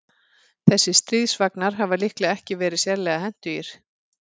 Þessir stríðsvagnar hafa líklega ekki verið sérlega hentugir.